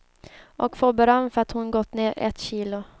Och får beröm för att hon gått ner ett kilo.